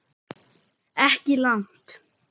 Ekki langt.